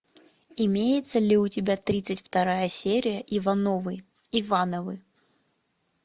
имеется ли у тебя тридцать вторая серия ивановы ивановы